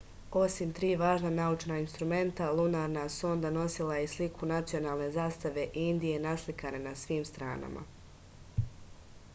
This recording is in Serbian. osim tri važna naučna instrumenta lunarna sonda nosila je i sliku nacionalne zastave indije naslikane na svim stranama